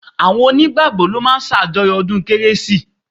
Àwọn onígbàgbọ́ ló máa ń ṣàjọyọ̀ ọdún kérésì